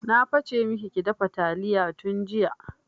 Na fa ce maki ki dafa taliya tun jiya!